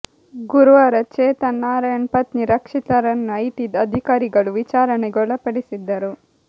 ಗುರುವಾರ ಚೇತನ್ ನಾರಾಯಣ್ ಪತ್ನಿ ರಕ್ಷಿತಾ ರನ್ನು ಐಟಿ ಅಧಿಕಾರಿಗಳು ವಿಚಾರಣೆಗೆ ಒಳಪಡಿಸಿದ್ದರು